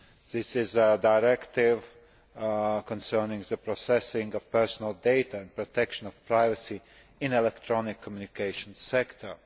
This is the directive concerning the processing of personal data and protection of privacy in the electronic communications sector.